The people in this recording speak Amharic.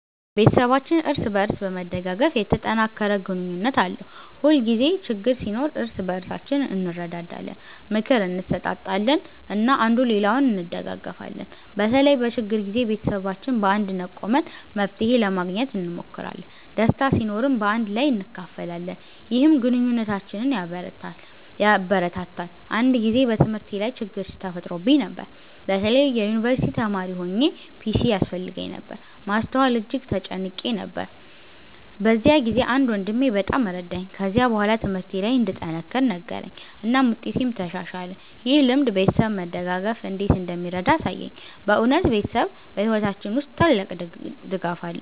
ቤተሰባችን እርስ በእርስ በመደጋገፍ የተጠናከረ ግንኙነት አለው። ሁልጊዜ ችግኝ ሲኖር እርስ በእርሳችን እንረዳዳለን፣ ምክር እንሰጣጣለን እና አንዱ ሌላውን እንደጋገፊለን። በተለይም በችግር ጊዜ ቤተሰባችን በአንድነት ቆመን መፍትሄ ለማግኘት እንሞክራለን። ደስታ ሲኖርም በአንድ ላይ እናካፍላለን፣ ይህም ግንኙነታችንን ያበረታታል። አንድ ጊዜ በትምህርቴ ላይ ችግኝ ተፈጥሮብኝ ነበር። በተለይ የዩንቨርሲቲ ተማሪ ሆኘ ፒሲ ያስፈልገኝ ነበር ማስተዋል እጅግ ተጨንቄ ነበር። በዚያ ጊዜ አንድ ወንድሜ በጣም ረዳኝ። ከዚያ በኋላ ትምህርቴ ለይ እንድጠነክር ነገረኝ እናም ውጤቴም ተሻሻለ። ይህ ልምድ ቤተሰብ መደጋገፍ እንዴት እንደሚረዳ አሳየኝ። በእውነት ቤተሰብ በሕይወታችን ውስጥ ታላቅ ድጋፍ ነው።